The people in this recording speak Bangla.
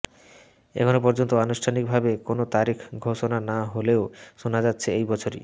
এখনও পর্যন্ত আনুষ্ঠানিক ভাবে কোনও তারিখ ঘোষণা না হলেও শোনা যাচ্ছে এই বছরই